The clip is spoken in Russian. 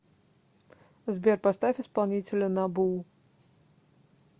сбер поставь исполнителя набу